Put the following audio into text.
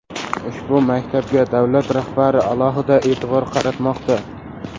Ushbu maktabga davlat rahbari alohida e’tibor qaratmoqda.